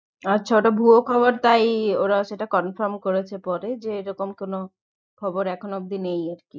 আচ্ছা ওটা ভুয়ো খবর তাই ওরা সেটা confirm করেছে পরে যে এরকম কোনো খবর এখনো অব্দি নেই